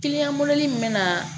Kiliyan min bɛ na